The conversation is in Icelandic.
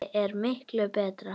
Þessi er miklu betri.